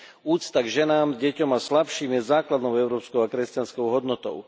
Úcta k ženám, deťom a slabším je základnou európskou a kresťanskou hodnotou.